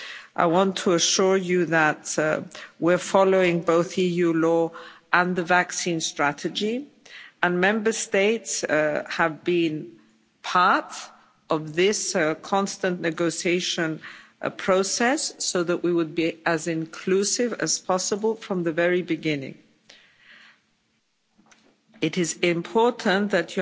I want to assure you that we're following both EU law and the vaccine strategy, and Member States have been part of this constant negotiation process so that we would be as inclusive as possible from the very beginning. It is important that